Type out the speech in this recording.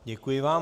Děkuji vám.